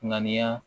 Ŋaniya